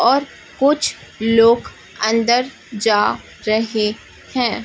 और कुछ लोग अंदर जा रहे हैं।